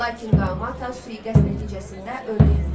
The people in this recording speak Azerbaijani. Lakin Qaumata sui-qəsd nəticəsində öldürüldü.